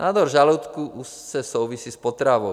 Nádor žaludku úzce souvisí s potravou.